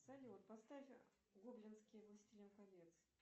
салют поставь гоблинский властелин колец